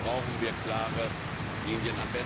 Da brauchen wir klare Linien.